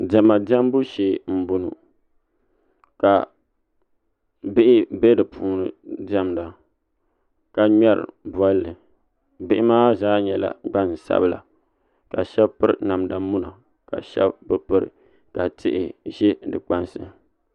diɛma diɛmbu shee m-bɔŋɔ ka bihi be di puuni n-diɛmda ka ŋmari bɔlli bihi maa zaa nyɛla gbansabila ka shɛba piri namda muna ka shɛba bi piri ka tihi za di kpansi